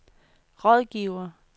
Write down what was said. rådgiver